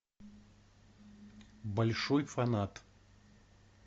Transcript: большой фанат